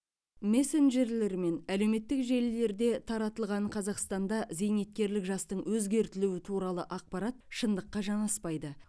мессенджерлер мен әлеуметтік желілерде таратылған қазақстанда зейнеткерлік жастың өзгертілуі туралы ақпарат шындыққа жанаспайды